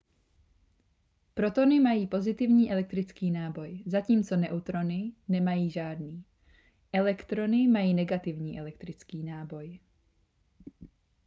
protony mají pozitivní elektrický náboj zatímco neutrony nemají žádný elektrony mají negativní elektrický náboj